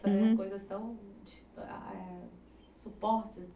Uhum. Coisas tão di, ah, ah, eh, suportes